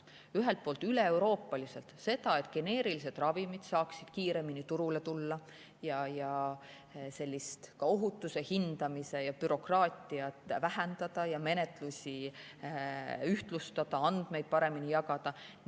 Ühelt poolt üleeuroopaliselt selle nimel, et geneerilised ravimid saaksid kiiremini turule tulla ja et ohutuse hindamise bürokraatiat vähendada ja menetlusi ühtlustada, andmeid paremini jagada.